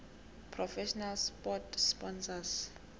professional sport sponsors